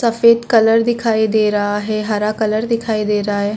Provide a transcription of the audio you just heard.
सफेद कलर दिखाई दे रहा है हरा कलर दिखाई दे रहा है।